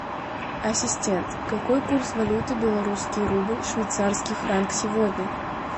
ассистент какой курс валюты белорусский рубль швейцарский франк сегодня